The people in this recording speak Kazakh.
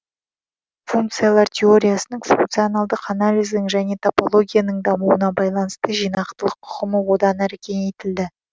функциялар теориясының функционалдық анализдің және топологияның дамуына байланысты жинақтылық ұғымы одан әрі кеңейтілді